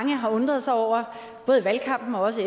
har undret sig over både i valgkampen og også